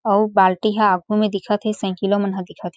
अउ बाल्टी ह आघू म दिखत हे साइकिलो मन ह दिखत हें।